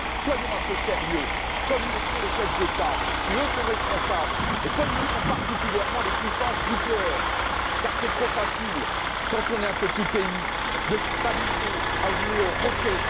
Soyons un peu sérieux, comme le sont les chefs d'État qui, eux, sont responsables, et comme le sont particulièrement les puissances nucléaires, car c'est trop facile quand on est un petit pays de se comporter comme un roquet.